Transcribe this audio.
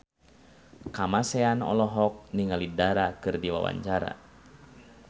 Kamasean olohok ningali Dara keur diwawancara